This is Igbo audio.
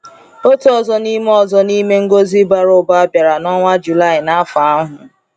Otu ọzọ n’ime ọzọ n’ime ngọzi bara ụba bịara n’ọnwa July n’afọ ahụ.